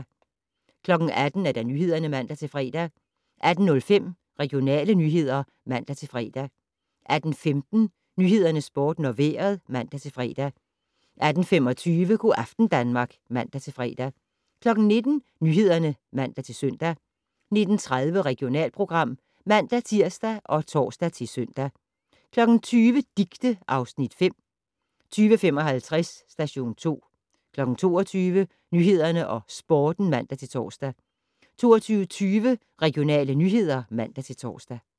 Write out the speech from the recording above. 18:00: Nyhederne (man-fre) 18:05: Regionale nyheder (man-fre) 18:15: Nyhederne, Sporten og Vejret (man-fre) 18:25: Go' aften Danmark (man-fre) 19:00: Nyhederne (man-søn) 19:30: Regionalprogram (man-tir og tor-søn) 20:00: Dicte (Afs. 5) 20:55: Station 2 22:00: Nyhederne og Sporten (man-tor) 22:20: Regionale nyheder (man-tor)